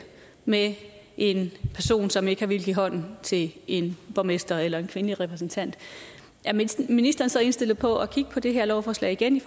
med en person som ikke har villet give hånd til en borgmester eller en kvindelig repræsentant er ministeren ministeren så indstillet på at kigge på det her lovforslag igen